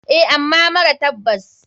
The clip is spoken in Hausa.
Eh ama mara tabbas.